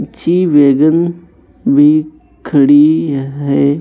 अच्छी बेगन भी खड़ी है।